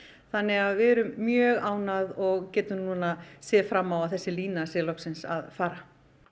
þannig að við erum mjög ánægð og getum núna séð fram á að þessi lína sé loksins að fara